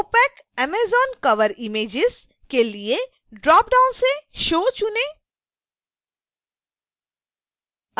opacamazoncoverimages के लिए dropdown से show चुनें